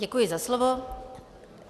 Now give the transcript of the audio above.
Děkuji za slovo.